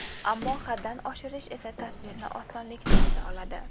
Ammo haddan oshish esa tasvirni osonlikcha buza oladi.